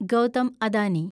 Gautam Adani